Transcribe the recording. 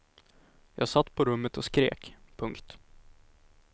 Jag satt på rummet och skrek. punkt